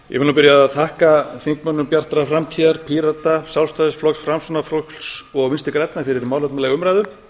því að þakka þingmönnum bjartrar framtíðar pírata sjálfstæðisflokks framsóknarflokks og vinstri grænna fyrir málefnalega umræðu